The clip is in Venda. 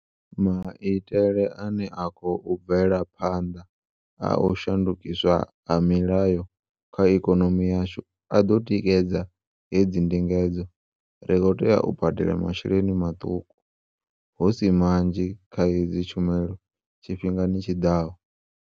Maitele ane a khou bvela phanḓa a u shandukiswa ha milayo kha ikonomi yashu a ḓo tikedza hedzi ndingedzo. Ri khou tea u badela masheleni maṱuku, hu si manzhi kha hedzi tshumelo tshifhingani tshi ḓaho.